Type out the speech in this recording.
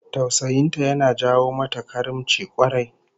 Tausayin ta yana jawo mata karimci kwarai